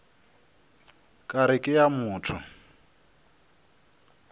ka re ke a motho